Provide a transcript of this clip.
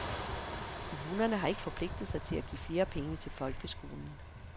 Kommunerne har ikke forpligtet sig til at give flere penge til folkeskolen.